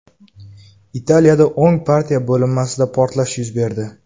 Italiyada o‘ng partiya bo‘linmasida portlash yuz berdi.